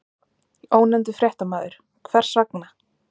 Ónefndur fréttamaður: Hvers vegna?